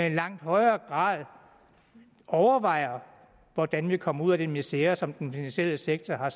i langt højere grad overvejer hvordan vi kommer ud af den misere som den finansielle sektor har